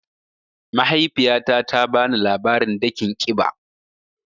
Mahaifiyata ta bani labarin dakin kiɓa.